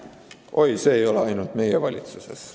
Oi, see ei ole ainult meie valitsuses.